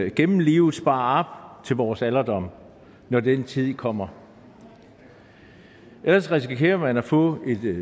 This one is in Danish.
igennem livet sparer op til vores alderdom når den tid kommer ellers risikerer man at få